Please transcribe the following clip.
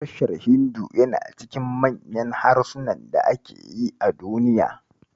Harshen Hindu yana cikin manyan harsunan da ake yi a Duniya.